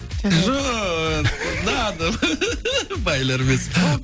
жоқ не надо байлар емес